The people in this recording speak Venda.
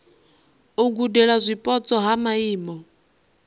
u gudela zwipotso ha maimo